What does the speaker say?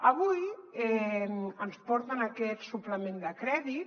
avui ens porten aquest suplement de crèdit